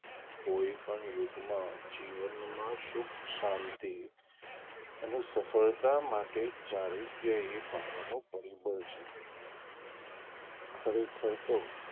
કોઈ પણ યુગમાં જીવનમાં સુખ શાંતિ અને સફળતા માટે ચારીત્ય એ પાયાનું પરિબળ છે ખરેખર તો,